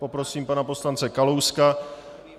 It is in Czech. Poprosím pana poslance Kalouska.